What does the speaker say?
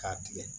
K'a tigɛ